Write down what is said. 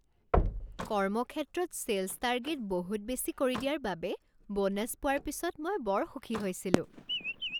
কৰ্মক্ষেত্ৰত sales target বহুত বেছি কৰি দিয়াৰ বাবে ব'নাছ পোৱাৰ পিছত মই বৰ সুখী হৈছিলো।